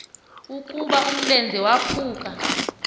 ukuba umlenze waphuke